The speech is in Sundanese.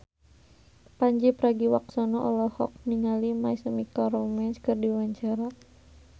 Pandji Pragiwaksono olohok ningali My Chemical Romance keur diwawancara